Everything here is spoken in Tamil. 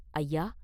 “ஐயா!